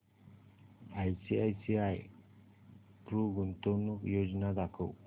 ICICI Pru गुंतवणूक योजना दाखव